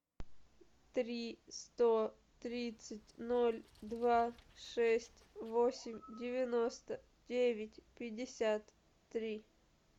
три сто тридцать ноль два шесть восемь девяносто девять пятьдесят три